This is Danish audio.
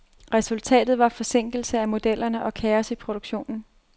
Resultatet var forsinkelse af modellerne og kaos i produktionen.